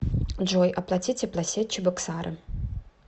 джой оплати теплосеть чебоксары